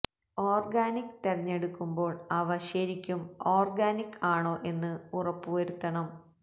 organic തെരഞ്ഞെടുക്കുമ്പോൾ അവ ശരിക്കും ഓർഗാനിക് ആണോ എന്ന് ഉറപ്പു വരുത്തണം